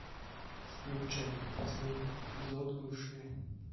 включай последний эпизод бывшие